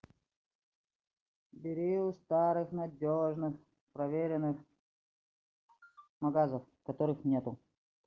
бери у старых надёжных проверенных магазов которых нету